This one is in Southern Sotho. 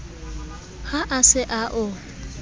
ha a se a o